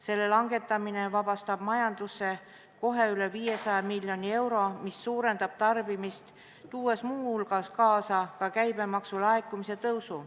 Selle langetamine vabastab majanduses kohe üle 500 miljoni euro, mis suurendab tarbimist ja toob muu hulgas kaasa käibemaksu laekumise kasvu.